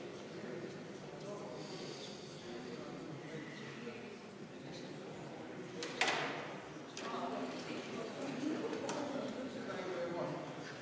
Eelnõu 592 on esimesel lugemisel tagasi lükatud ning langeb